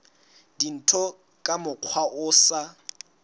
dintho ka mokgwa o sa